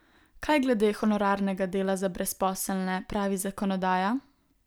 Kaj glede honorarnega dela za brezposelne pravi zakonodaja?